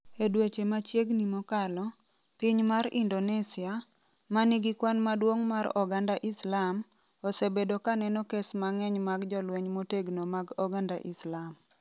E dweche machiegni mokalo, piny mar Indonesia, ma nigi kwan maduong' mar oganda Islam, osebedo ka neno kes mang'eny mag jolweny motegno mag oganda Islam.